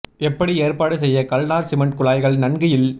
எப்படி ஏற்பாடு செய்ய கல்நார் சிமெண்ட் குழாய்கள் நன்கு இல்